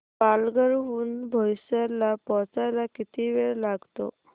पालघर हून बोईसर ला पोहचायला किती वेळ लागतो